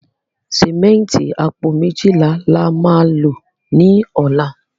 Símẹ́ǹtì apo mejila la ma lo ni ola